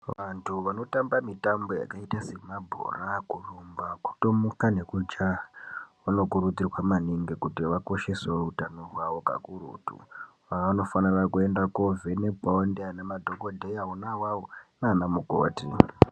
Antu vanotamba mitambo yakaita semabhora kurumba kutomuka nekujaha vanokurudzirwa maningi kuti vakoshesewo utano hwawo kakurutu pavanofanira kuenda kovhenekwawo ndiana madhokodheya wona awawo nanamukoti.